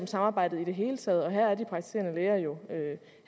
samarbejdet i det hele taget og her